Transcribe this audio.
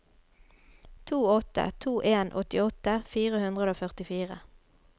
to åtte to en åttiåtte fire hundre og førtifire